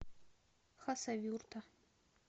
хасавюрта